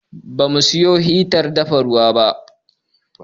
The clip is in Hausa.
Ba mu siyo hitar dafa ruwa ba.